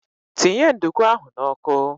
Tinye nduku ahụ n'ọkụ!